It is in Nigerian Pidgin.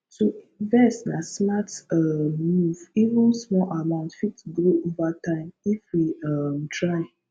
to invest na smart um move even small amount fit grow over time if we um try